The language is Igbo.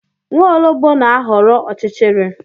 Nwaologb na-ahọrọ ọchịchịrị